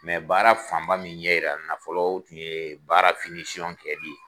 Mɛ baara fanba min ɲɛ yira n na folo oo tun yee baara finisɔn dirɛti ye